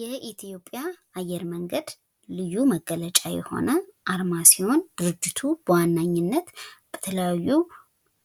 የኢትዮጵያ አየር መንገድ ልዩ መገለጫ የሆነ አርማ ሲሆን ድረጅቱ በዋነኝነት በተለያዩ